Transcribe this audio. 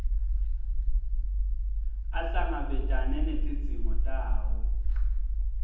ahlangabetane netidzingo tawo